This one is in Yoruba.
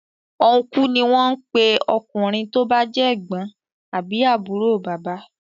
Uncle ní wón ń pé ọkùnrin tó bá jẹ́ ègbón àbí àbúrò bàbá.